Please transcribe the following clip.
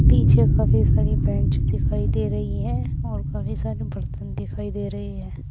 पीछे काफी सारी बेंच दिखाई दे रही है और काफी सारी बर्तन दिखाई दे रहे हैं।